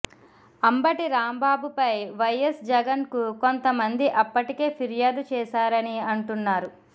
అంబటి రాంబాబుపై వైయస్ జగన్కు కొంత మంది అప్పటికే ఫిర్యాదు చేశారని అంటున్నారు